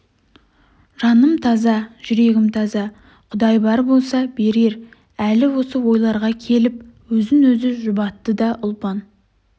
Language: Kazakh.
жаным таза жүрегім таза құдай бар болса берер әлі осы ойларға келіп өзін өзі жұбатты да ұлпан